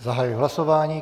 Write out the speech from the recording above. Zahajuji hlasování.